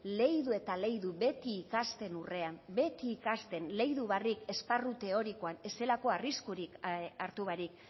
leidu eta leidu beti ikasten urrean beti ikasten leidu barik esparru teorikoan ez zelako arriskurik hartu barik